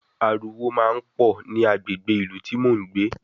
Aruwo máa ń pọ̀ ní agbègbè ìlú tí mò ń gbé